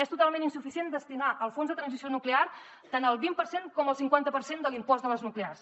és totalment insuficient destinar al fons de transició nuclear tant el vint per cent com el cinquanta per cent de l’impost de les nuclears